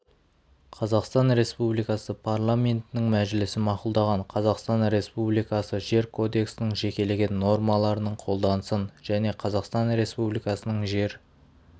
қазақстан республикасы парламентінің мәжілісі мақұлдаған қазақстан республикасы жер кодексінің жекелеген нормаларының қолданысын және қазақстан республикасының жер